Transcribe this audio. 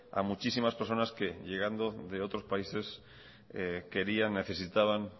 a muchísimas personas que llegando de otros países necesitaban